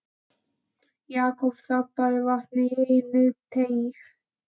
Jakob þambaði vatnið í einum teyg.